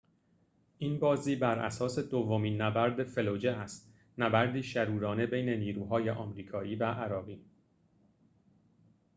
این بازی بر اساس دومین نبرد فلوجه است نبردی شرورانه بین نیروهای آمریکایی و عراقی